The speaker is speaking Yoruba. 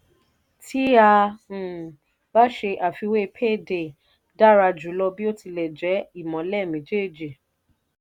tí a um bá ṣe àfiwé payday dára jùlọ bí ó ti jẹ́ ìmọ́lẹ̀ méjèèjì.